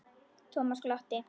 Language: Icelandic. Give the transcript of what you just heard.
Thomas glotti.